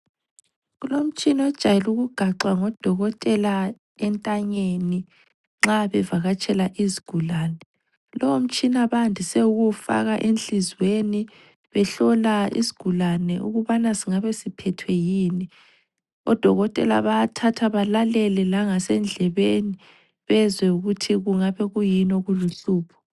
Kulomtshina ojayele ukugaxwa ngodokotela entanyeni nxa bevakatshela izigulane. Lowo mtshina bandise ukuwufaka enhlizweni behlola isigulane ukubana singabe siphethwe yini. Odokotela bayathatha balalele langasendlebeni bezwe ukuthi kungabe kuyini okuluhlupho.